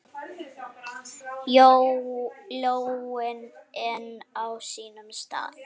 Lóin enn á sínum stað.